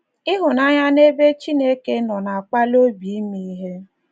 Ịhụnanya n’ebe Chineke nọ na - akpali obi ime ihe.